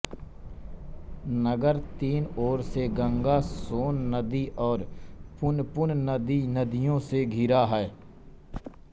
नगर तीन ओर से गंगा सोन नदी और पुनपुन नदी नदियों से घिरा है